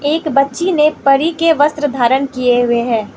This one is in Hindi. एक बच्ची ने परी के वस्त्र धारण किये हुए है।